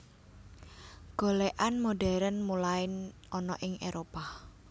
Golèkan modern mulain ana ing Éropah